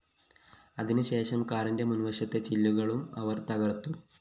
അതിന് ശേഷം കാറിന്റെ മുന്‍വശത്തെ ചില്ലുകളും അവര്‍ തകര്‍ത്തു